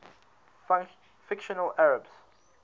fictional arabs